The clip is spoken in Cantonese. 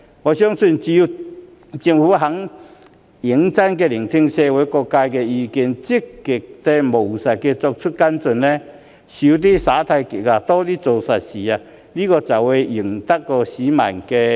我相信，只有政府願意認真聆聽社會各界的意見、積極務實地作出跟進，"少耍太極，多做實事"，才會贏得市民的支持。